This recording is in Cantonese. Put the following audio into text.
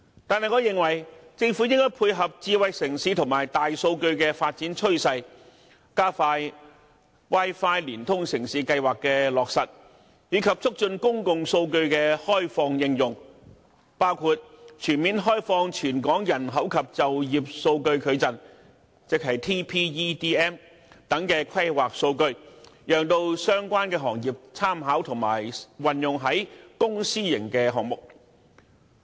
但是，我認為政府應該配合智慧城市和大數據的發展趨勢，加快 "Wi-Fi 連通城市"計劃的落實，以及促進公共數據的開放應用，包括全面開放《全港人口及就業數據矩陣》等規劃數據，讓相關行業參考並運用於公、私營項目。